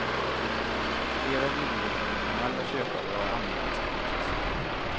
Flera villiga internationella köpare har anmält sitt intresse.